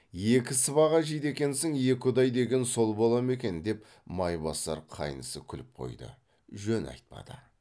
екі сыбаға жейді екенсін екі ұдай деген сол бола ма екен деп майбасар қайнысы күліп қойды жөн айтпады